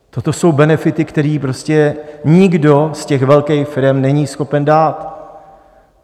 Toto jsou benefity, které prostě nikdo z těch velkých firem není schopen dát.